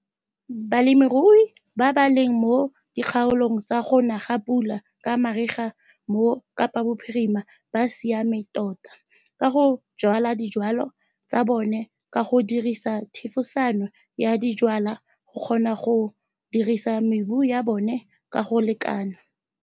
Balemirui ba ba leng mo dikgaolong tsa go na ga pula ka mariga mo Kapabophirima ba siame tota ka go jwala dijwalwa tsa bona ka go dirisa thefosano ya dijwalwa go kgona go dirisa mebu ya bone ka go lekana.